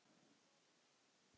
Man ég man þig